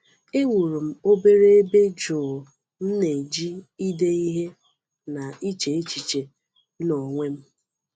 E wuru m obere ebe jụụ m na-eji ide ihe na iche echiche m n’onwe m.